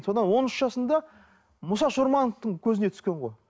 сонда он үш жасында мұса шормановтың көзіне түскен ғой